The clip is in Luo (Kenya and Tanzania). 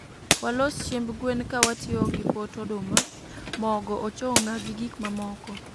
Waloso chiemb gwen ka watiyo gi pot oduma, mogo, ochong'a gi gik mamoko